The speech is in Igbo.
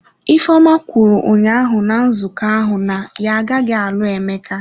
Ifeoma kwuru ụnyahụ na nzukọ ahụ na ya agaghị alụ Emeka.